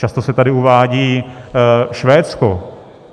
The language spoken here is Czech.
Často se tady uvádí Švédsko.